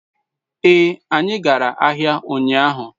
ee, anyi gara ahia unyahu